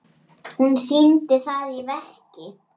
Hún sýndi það í verki.